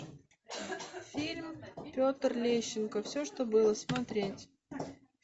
фильм петр лещенко все что было смотреть